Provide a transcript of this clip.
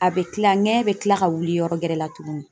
A bɛ kila, ŋɛɲɛ bɛ kila ka wuli yɔrɔ gɛrɛ la tugunni.